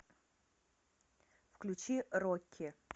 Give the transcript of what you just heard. включи рокки